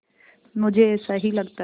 मुझे ऐसा ही लगता है